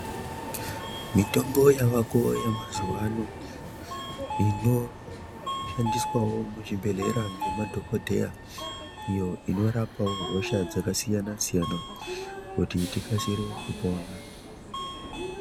Mitombo yavako yamazuva ano, ino shandiswawo muchibhedhlera ngemadhokodhera iyo inorapawo hosha dzakasiyana - siyana kuti tikasire kupona.